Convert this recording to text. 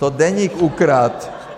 To Deník ukradl.